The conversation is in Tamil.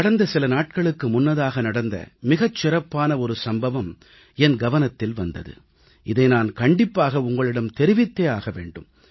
கடந்த சில நாட்களுக்கு முன்னதாக நடந்த மிகச் சிறப்பான ஒரு சம்பவம் என் கவனத்தில் வந்தது இதை நான் கண்டிப்பாக உங்களிடம் தெரிவித்தே ஆக வேண்டும்